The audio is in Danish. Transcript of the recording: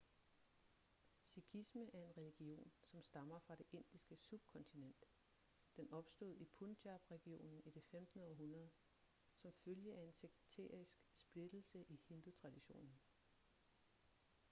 sikhisme er en religion som stammer fra det indiske subkontinent den opstod i punjab-regionen i det 15. århundrede som følge af en sekterisk splittelse i hindutraditionen